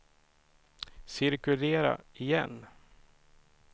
cirkulera igen